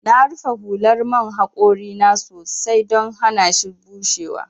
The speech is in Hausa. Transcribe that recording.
Na rufe hular man haƙori na sosai don hanashi bushewa.